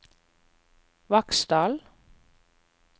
Vaksdal